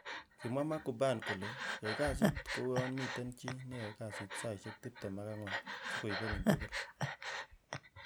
Kimwa Mark Cuban kole,"Yai kasit ko uyon miten chi neyoe kasit saisiek tibtem ak ang'wan si koibenin tugul ."